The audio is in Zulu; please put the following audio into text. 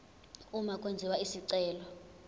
uma kwenziwa isicelo